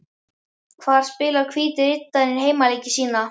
Hvar spilar Hvíti Riddarinn heimaleiki sína?